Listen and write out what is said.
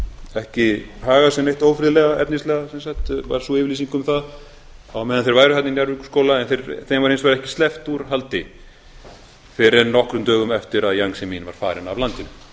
ekki haga sér neitt ófriðlega efnislega sem sagt var sú yfirlýsing um það á meðan þeir væru þarna í njarðvíkurskóla en þeim var hins vegar ekki sleppt úr haldi fyrr en nokkrum dögum eftir að jiang zemin var farinn af